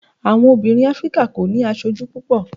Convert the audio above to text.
àwọn obìnrin áfríkà o ni aṣoju púpò